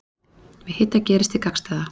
Við hita gerist hið gagnstæða.